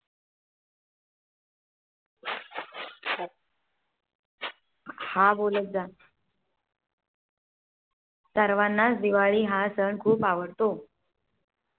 हा बोलत जा. सर्वांना च दिवाळी हा सण खुप आवडतो